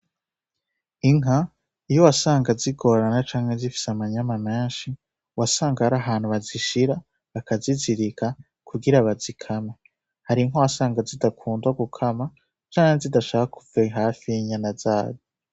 Inka, iyo wasanga zigorana canke zifise amanyama menshi, wasanga hari ahantu bazishira bakazizirika kugira bazikamwe. Hari inka wasanga zidakundwa gukama, canke zidashaka kuva hafi y’inyana zazo.